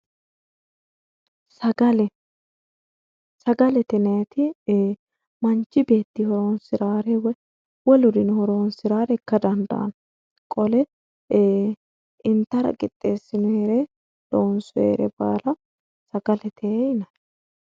Sagale sagalete yinnanniti ee manchi beetti horonsirare woyi woluri horonsiranore ikka dandaano qole intara qixxesinoyire loonsonnire baalla sagalete yinnanni.